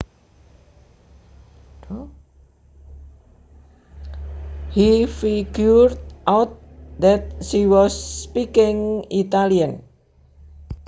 He figured out that she was speaking Italian